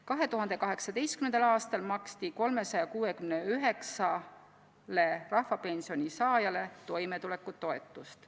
2018. aastal maksti 369-le rahvapensioni saajale toimetulekutoetust.